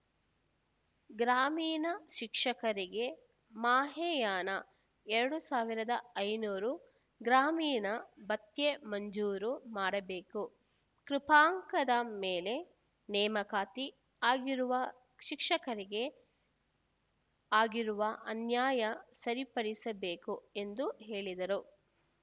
ಗ್ರಾಮೀಣ ಶಿಕ್ಷಕರಿಗೆ ಮಾಹೆಯಾನ ಎರಡು ಸಾವಿರದ ಐನೂರು ಗ್ರಾಮೀಣ ಭತ್ಯೆ ಮಂಜೂರು ಮಾಡಬೇಕು ಕೃಪಾಂಕದ ಮೇಲೆ ನೇಮಕಾತಿ ಆಗಿರುವ ಶಿಕ್ಷಕರಿಗೆ ಆಗಿರುವ ಅನ್ಯಾಯ ಸರಿಪಡಿಸಬೇಕು ಎಂದು ಹೇಳಿದರು